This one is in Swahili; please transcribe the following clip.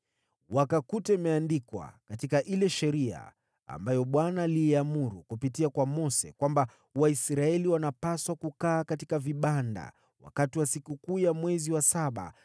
Wakakuta imeandikwa katika ile Sheria, ambayo Bwana aliiamuru kupitia kwa Mose, kwamba Waisraeli walipaswa kukaa katika vibanda wakati wa sikukuu ya mwezi wa saba,